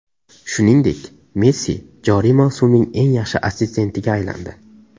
Shuningdek, Messi joriy mavsumning eng yaxshi assistentiga aylandi.